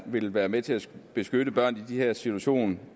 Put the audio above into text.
vil være med til at beskytte børn i de her situationer